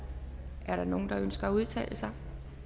er der nogen der ønsker at udtale sig